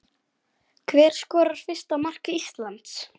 Hver skorar fyrsta mark Íslands?